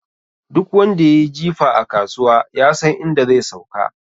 Duk wanda yayi jifa a kasuwa, yasan inda zai sauka.